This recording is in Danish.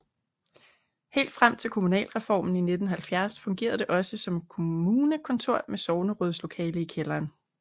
Helt frem til kommunalreformen i 1970 fungerede det også som kommunekontor med sognerådslokale i kælderen